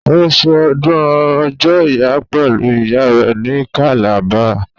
Ó ṣe ọdún ọjọ́ ìyá pẹ̀lú ìyá rẹ ní Calabar